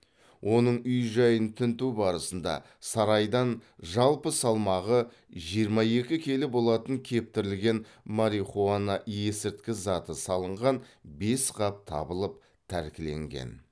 оның үй жайын тінту барысында сарайдан жалпы салмағы жиырма екі келі болатын кептірілген марихуана есірткі заты салынған бес қап табылып тәркіленген